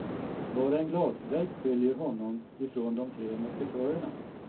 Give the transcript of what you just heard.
Bara en glasvägg skiljer honom ifrån de tre musketörerna.